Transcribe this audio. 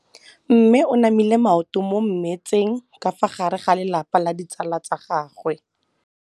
Mme o namile maoto mo mmetseng ka fa gare ga lelapa le ditsala tsa gagwe.